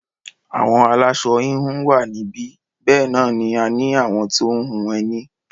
Àwọn aláṣọ-híhun wà níbí, bẹ́ẹ̀ náà ni a ní àwọn tó ń hun ẹní.